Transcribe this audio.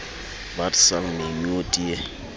wat sal my nou te